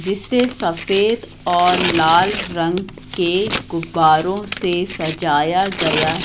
जिसे सफेद और लाल रंग के गुब्बारों से सजाया गया--